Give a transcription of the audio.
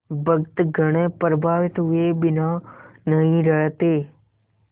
भक्तगण प्रभावित हुए बिना नहीं रहते